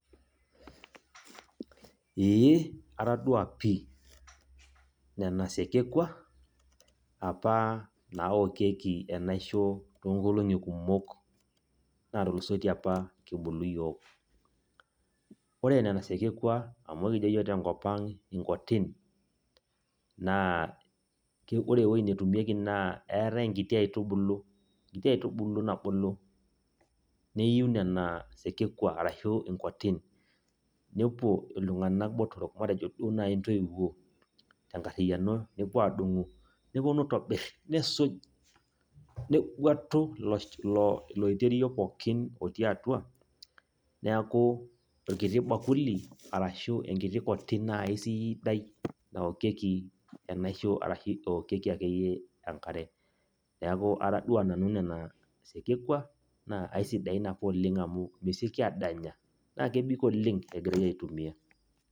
Ee atadua pi, nena sekekwa, apa naokieki enaisho toonkolong'i kumok natulusoitie apa kibulu yiok. Ore nena sekekwa amu ekijo yiok tenkop ang' inkotin, naa ore ewoi netumieki naa eeate enkiti aitubulu, enkitu aitubulu nabulu, niu nena sekekwa arashu inkotin. Nepuo iltung'anak botorok matejo duo nai ntoiwuo tenkarriyiano nepuo adung'u, neponu aitobir, nisuj, neguatu iloiterio pookin otii atua, neeku orkiti bakuli arashu enkiti koti nai siidai naokieki enaisho arashu eokieki akeyie enkare. Neeku atadua nanu nena sekekwa, naa aisidain apa oleng amu meseki adanya, na kebik oleng' egirai aitumia.